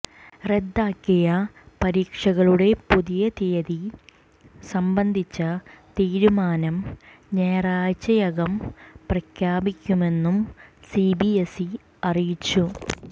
റദ്ദാക്കിയ പരീക്ഷകളുടെ പുതിയ തീയതി സംബന്ധിച്ച തീരുമാനം ഞാറയാഴ്ചക്കകം പ്രഖ്യാപിക്കുമെന്നും സിബിഎസ്ഇ അറിയിച്ചു